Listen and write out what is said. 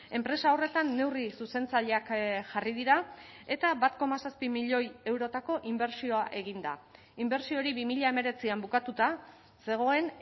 enpresa horretan neurri zuzentzaileak jarri dira eta bat koma zazpi milioi eurotako inbertsioa egin da inbertsio hori bi mila hemeretzian bukatuta zegoen